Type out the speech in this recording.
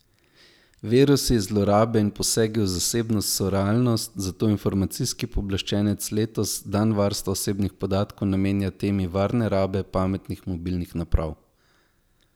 Virusi, zlorabe in posegi v zasebnost so realnost, zato informacijski pooblaščenec letos dan varstva osebnih podatkov namenja temi varne rabe pametnih mobilnih naprav.